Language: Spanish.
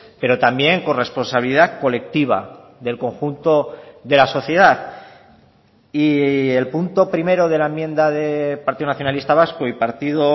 pero también corresponsabilidad colectiva del conjunto de la sociedad y el punto primero de la enmienda de partido nacionalista vasco y partido